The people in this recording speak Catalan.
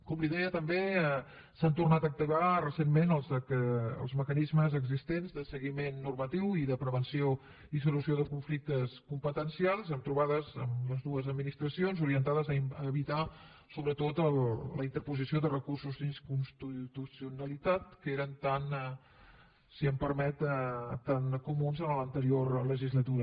com li deia també s’han tornat a activar recentment els mecanismes existents de seguiment normatiu i de prevenció i solució de conflictes competencials amb trobades amb les dues administracions orientades a evitar sobretot la interposició de recursos d’inconstitucionalitat que eren tan si em permet comuns en l’anterior legislatura